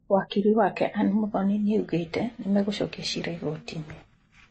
Wakiri wake Ann Muthoni nĩaugĩte nĩmegũcokia cira igoti-inĩ.